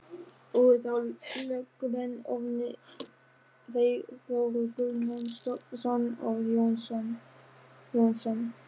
Voru þá lögmenn orðnir þeir Þórður Guðmundsson og Jón Jónsson.